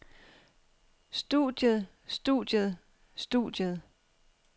studiet studiet studiet